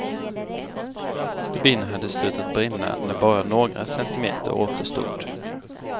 Stubinen hade slutat brinna när bara några centimeter återstod.